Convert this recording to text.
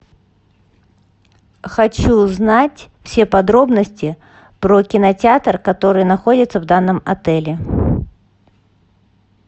хочу узнать все подробности про кинотеатр который находится в данном отеле